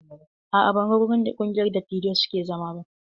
A'a, ban ga wurin da ƙungiyar dattijai suke zama ba.